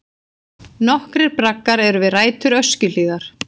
Nokkrir braggar eru við rætur Öskjuhlíðar.